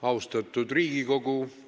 Austatud Riigikogu!